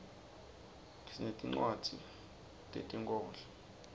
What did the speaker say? sinetircwadzi tetinkhorbco